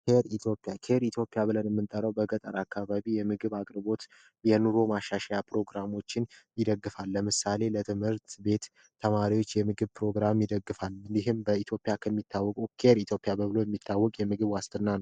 ኬር ኢትዮጵያ ኬር ኢትዮጵያ ብለን የምንጠራው በገጠር አካባቢ የምግብ አቅርቦት የኑሮ ማሻሻያ ፕሮግራሞችን ይደግፋል። ለምሳሌ ለትምህርት ቤት ተማሪዎች የምግብ ፕሮግራም ይደግፋል። እንዲሁም በኢትዮጵያ ከሚታወቀው ኬር ኢትዮጵያ ተብሎ የሚታወቅ የምግብ ዋስትና ነው።